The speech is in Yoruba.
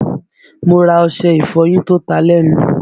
Mo ra ọṣẹ ìfọyín tó ta lẹ́nu